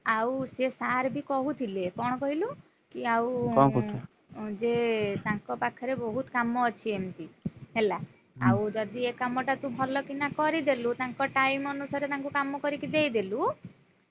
ଆଉ ସେ sir ବି କହୁଥିଲେ କଣ କହିଲୁ? କି ଆଉ ଯେ ତାଙ୍କ ପାଖରେ ବହୁତ୍ କାମ ଅଛି ଏମତି ହେଲା, ଆଉ ଯଦି ଏ କାମଟା ତୁ ଭଲକିନା କରିଦେଲୁ ତାଙ୍କ time ଅନୁସାରେ ତାଙ୍କୁ କାମ କରିକି ଦେଇଦେଲୁ।